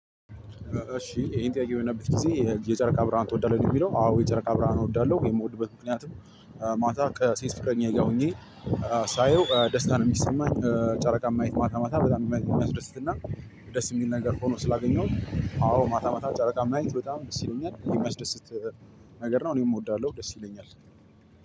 እሺ ጥያቄ በምናይበት ጊዜ የጨረቃ ብርሃን ትወዳለህ ወይ? ነው የሚለው አዎ የጨረቃ ብርሃን እወዳለሁ የምወድበት ምክንያትም። ማታ ከሴት ፍቅረኛዬ ጋር ሆኜ ሳየው ደስታ ነው የሚሰማኝ። ጨረቃ ማየት ማታ ማታ በጣም የሚያስደስትና ደስ የሚል ነገር ሆኖ ስላገኘሁት። አዎ ማታ ማታ ጨረቃን ማየት በጣም ደስ ይለኛ የሚያስደስት ነገር ነው። እኔም እወዳለሁ ደስ ይለኛል።